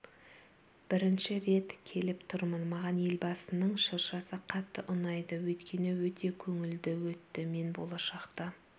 бірінші рет келіп тұрмын маған елбасының шыршасы қатты ұнады өйткені өте көңілді өтті мен болашақта